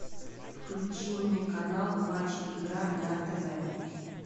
включи мне канал матч игра на тв